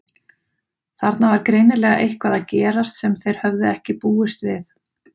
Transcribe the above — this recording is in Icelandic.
Þarna var greinilega eitthvað að gerast sem þeir höfðu ekki búist við.